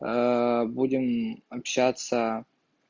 будем общаться